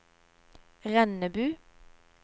Rennebu